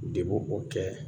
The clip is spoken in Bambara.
De b'o o kɛ